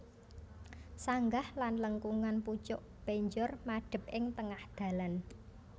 Sanggah lan lengkungan pucuk penjor madhep ing tengah dhalan